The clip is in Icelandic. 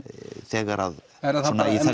þegar er það